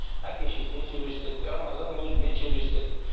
әке шешесімен сөйлестік рамазанның өзімен сөйлестік